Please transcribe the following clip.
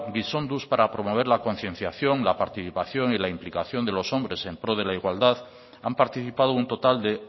gizonduz para promover la concienciación la participación y la implicación de los hombres en pro de la igualdad han participado un total de